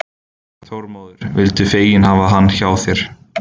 Þormóður vildu fegin hafa hann hjá sér.